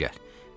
Bura gəl.